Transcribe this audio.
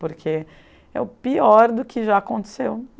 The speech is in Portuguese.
Porque é o pior do que já aconteceu.